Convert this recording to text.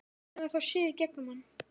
Hún hefur þá séð í gegnum hann.